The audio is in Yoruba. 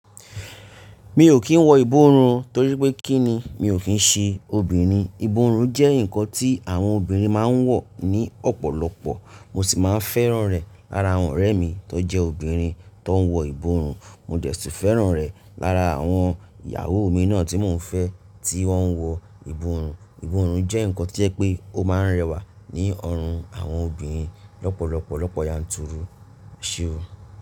Mi ò kí ń wọ ìborùn torí pé kí ni? Mi ò kí ń ṣe obìnrin. Ìborùn jẹ́ nǹkan tí àwọn obìnrin máa ń wọ̀ ní ọ̀pọ̀lọpọ̀. Mo sì máa ń fẹ́ràn rẹ̀ lára àwọn ọ̀rẹ́ mi tó jẹ́ obìnrin tó ń wọ ìborùn. Mo dẹ̀si fẹ́ràn rẹ̀ lára àwọn ìyàwó mi náà tí mo ń fẹ́ tí wọ́n ń wọ ìborùn. Ìborùn jẹ́ nǹkan tí o jẹ pé ó máa ń rẹwà ní ọrùn àwọn obìnrin lọ́pọ̀lọpọ̀ lọ́pọ̀ yanturu. Esé o?